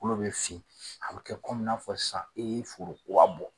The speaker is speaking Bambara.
kolo bɛ fin a bɛ kɛ n'a fɔ sisan e ye foro kura bɔ.